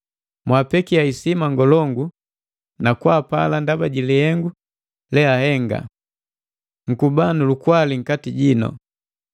Mwapekia hisima ngolongu na kwaapala ndaba ji lihengu leahenga. Nkuba nu lukwali nkati jino.